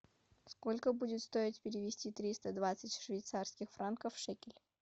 сколько будет стоить перевести триста двадцать швейцарских франков в шекели